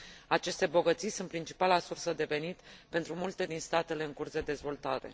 Aceste bogății sunt principala sursă de venit pentru multe din statele în curs de dezvoltare.